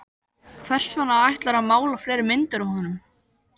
Hvers vegna ætlarðu að mála fleiri myndir af honum?